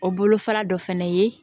O bolo fara dɔ fɛnɛ ye